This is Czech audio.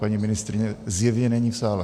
Paní ministryně zjevně není v sále.